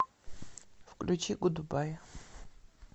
включи гудбай